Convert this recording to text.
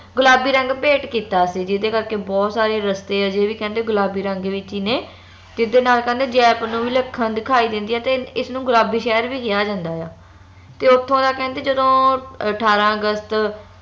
ਗੁਲਾਬੀ ਰੰਗ ਭੇਟ ਕੀਤਾ ਸੀ ਜਿਹਦੇ ਕਰਕੇ ਬਹੁਤ ਸਾਰੇ ਰਸਤੇ ਅਜੇ ਵੀ ਕਹਿੰਦੇ ਗੁਲਾਬੀ ਰੰਗ ਵਿਚ ਹੀ ਨੇ ਜਿਹਦੇ ਨਾਲ ਕਹਿੰਦੇ ਜੈਪੁਰ ਨੂੰ ਵਿਲੱਖਣ ਦਿਖਾਈ ਦਿੰਦਿਆਂ ਤੇ ਇਸ ਨੂੰ ਗੁਲਾਬੀ ਸ਼ਹਿਰ ਵੀ ਕਿਹਾ ਜਾਂਦਾ ਆ ਤੇ ਓਥੋਂ ਦਾ ਕਹਿੰਦੇ ਜਦੋ ਅਠਾਰਾਂ ਅਗਸਤ